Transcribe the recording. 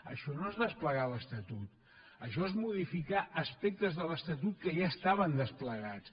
això no és desplegar l’estatut això és modificar aspectes de l’estatut que ja estaven desplegats